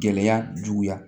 Gɛlɛya juguya